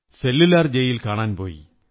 cellular jail കാണാൻ പോയി